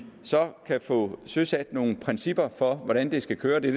kan få søsat nogle principper for hvordan det skal køre det